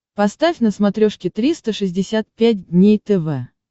поставь на смотрешке триста шестьдесят пять дней тв